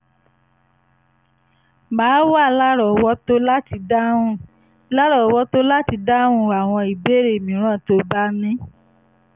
màá wà lárọ̀ọ́wọ́tó láti dáhùn lárọ̀ọ́wọ́tó láti dáhùn àwọn ìbéèrè mìíràn tó o bá ní